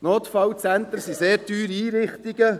Notfallzentren sind sehr teure Einrichtungen.